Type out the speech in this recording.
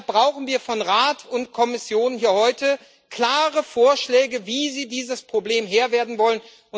Deshalb brauchen wir von Rat und Kommission hier heute klare Vorschläge, wie sie dieses Problems Herr werden wollen.